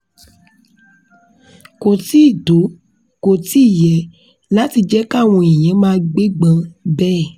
ko ti to, ko ti ye lati jẹ kawọn eyan maa gbegban bẹẹ